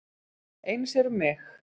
Eins er um mig.